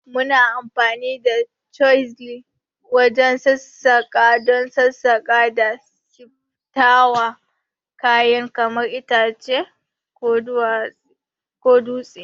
Muna amfani da chisel wajen sassaƙa don sassaƙa da siffata kayan kamar itace ko dutse.